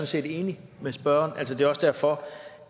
set enig med spørgeren er altså også derfor